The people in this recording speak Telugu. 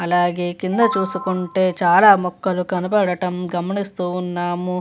అలాగే కింద చూసుకుంటే చాలా మొక్కలు కనబడటం గమనిస్తూ ఉన్నాము.